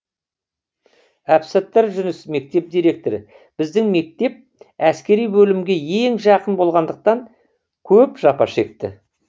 әбсаттар жүніс мектеп директоры біздің мектеп әскери бөлімге ең жақын болғандықтан көп жапа шекті